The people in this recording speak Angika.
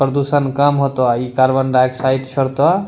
प्रदुषण कम होतो अ इ कार्बन डाइऑक्साइड छोड़तो।